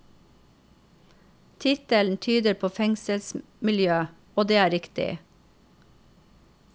Tittelen tyder på fengselsmiljø, og det er riktig.